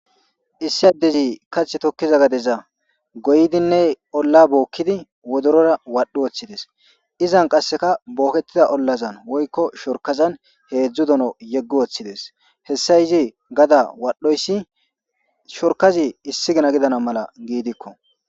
Issi adezi kathi tokiza gadeza goyidinne olla bookidi wodorora wadhi wothidesi. Izan qaseka booketida ollazan woyko shorkazani hezdzdu dono yegi wothidesi , hesa izi gada wadhoysi shorkazi issi gina gidana mala gidiko.